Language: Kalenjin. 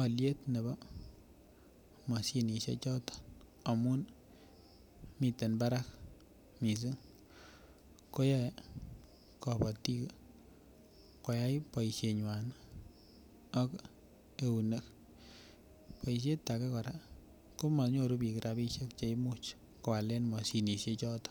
alyet nebo mashinisiek choton amun miten barak mising ko yoe kabatik koyai boisienywan ak eunek boisiet age kora komanyoru bik rabisiek Che imuch koalen mashinisiek choton